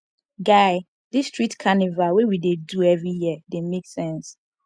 guy dis street carnival wey we dey do every year dey make sense